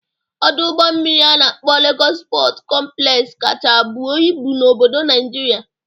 Ọdụ ụgbọ mmiri a na-akpọ Legọs Pọt kọmplex kacha buo ibu n'obodo Naịjirịa.